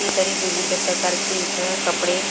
ही तरी विविध प्रकारची इथं कपडे--